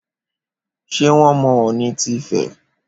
Ṣé wón mọ Ọ̀ọ̀nì ti Ifẹ̀